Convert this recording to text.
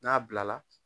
N'a bilala